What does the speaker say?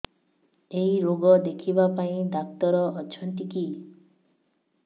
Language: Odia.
ଏଇ ରୋଗ ଦେଖିବା ପାଇଁ ଡ଼ାକ୍ତର ଅଛନ୍ତି କି